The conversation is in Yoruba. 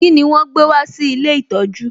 Kíni wọn gbé wá sí ilé ìtọjú?